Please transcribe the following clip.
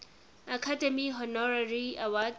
academy honorary award